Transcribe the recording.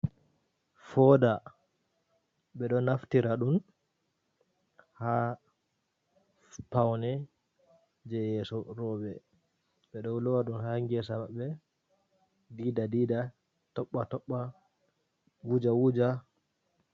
Foda ɓeɗo naftira ɗum ha paune je yeso roɓe, ɓeɗo lowa ɗum ha gesa mabɓe, dida dida, toɓɓa toɓɓa wuja wuja.